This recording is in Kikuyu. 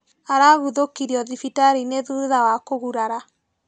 Araguthũkirio thibitarĩinĩ thutha wa kũgurara.